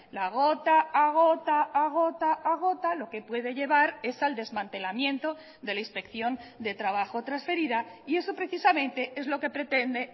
la gota a gota a gota a gota lo que puede llevar es al desmantelamiento de la inspección de trabajo transferida y eso precisamente es lo que pretende